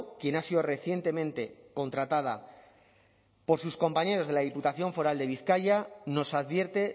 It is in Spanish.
quien ha sido recientemente contratada por sus compañeros de la diputación foral de bizkaia nos advierte